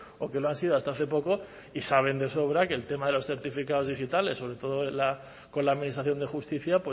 o que lo han sido hasta hace poco y saben de sobra que el tema de los certificados digitales sobre todo con la administración de justicia